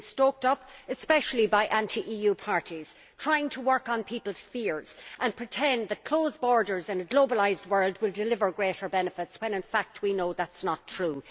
It has been stoked up, especially by anti EU parties trying to work on people's fears and pretending that closed borders in a globalised world will deliver greater benefits, when in fact we know that that is not true.